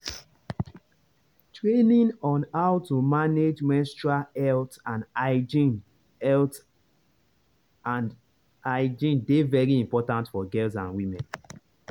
training on how to manage menstrual health and hygiene health and hygiene dey very important for girls and women.